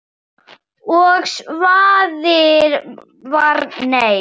Og svarið var nei.